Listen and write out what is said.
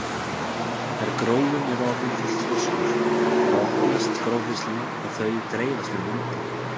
Þegar gróin eru orðin fullþroskuð þá opnast gróhirslurnar og þau dreifast með vindi.